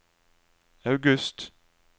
august